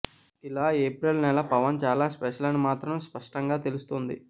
ఇలా ఏప్రిల్ నెల పవన్ చాలా స్పెషల్ అని మాత్రం స్పష్టంగా తెలుస్తుంది